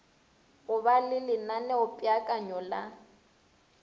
go ba le lenaneopeakanyo la